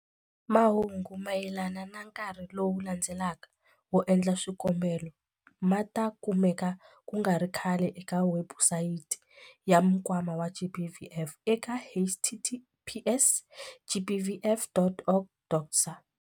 Mahungu mayelana na nkarhi lowu landzelaka wo endla swikombelo ma ta kumeka ku nga ri khale eka webusayiti ya Nkwama wa GBVF eka- https- gbvf.org.za.